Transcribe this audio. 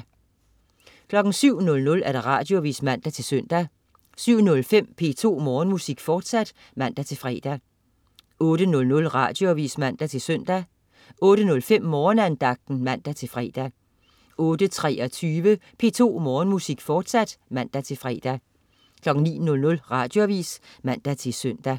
07.00 Radioavis (man-søn) 07.05 P2 Morgenmusik, fortsat (man-fre) 08.00 Radioavis (man-søn) 08.05 Morgenandagten (man-fre) 08.23 P2 Morgenmusik, fortsat (man-fre) 09.00 Radioavis (man-søn)